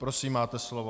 Prosím, máte slovo.